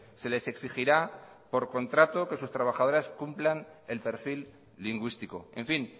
se les exigirá por contrato que sus trabajadores cumplan el perfil lingüístico en fin